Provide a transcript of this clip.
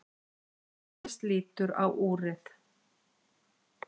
Agnes lítur á úrið.